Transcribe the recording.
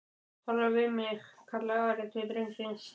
talaðu við mig, kallaði Ari til drengsins.